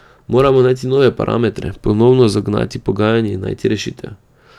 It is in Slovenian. Moramo najti nove parametre, ponovno zagnati pogajanja in najti rešitev.